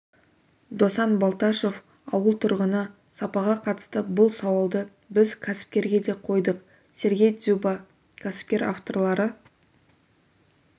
досан балташев ауыл тұрғыны сапаға қатысты бұл сауалды біз кәсіпкерге де қойдық сергей дзюба кәсіпкер авторлары